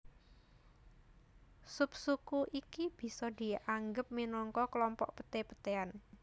Subsuku iki bisa dianggep minangka klompok peté petéan